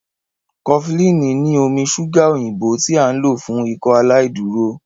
cofflin ni omí ṣuga òyìnbó tí a n lò fún Ikọaláìdúró.